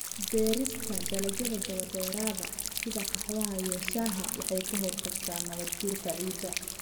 Beerista dalagyada daba-dheeraada sida qaxwaha iyo shaaha waxay ka hortagtaa nabaad-guurka ciidda.